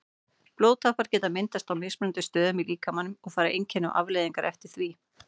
Blóðtappar geta myndast á mismunandi stöðum í líkamanum og fara einkenni og afleiðingar eftir því.